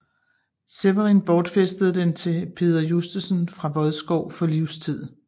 Sewerin bortfæstede den til Peder Justesen fra Vodskov for livstid